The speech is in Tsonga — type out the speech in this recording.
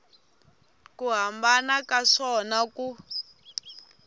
ku hambana ka swona ku